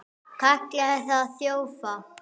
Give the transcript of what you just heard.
Kallaði þá þjófa.